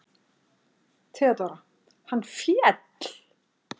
THEODÓRA: Hann féll!